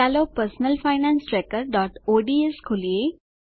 ચાલો personal finance trackerઓડ્સ ખોલીએ